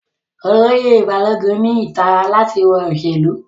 Oloye Balogun ni itara lati wọ iṣelu